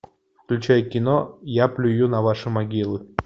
включай кино я плюю на ваши могилы